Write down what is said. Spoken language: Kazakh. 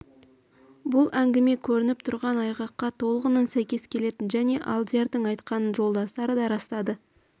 бұл әңгіме көрініп тұрған айғаққа толығынан сәйкес келетін және алдиярның айтқанын жолдастары да растады